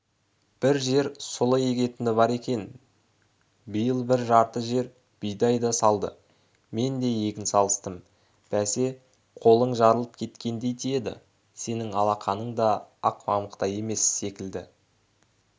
бір жер сұлы егетіні бар екен де биыл бір жарты жер бидай да салды мен де егін салыстым бәсе қолың жарылып кеткендей тиеді сенің алақаның да ақ мамықтай емес секілді менің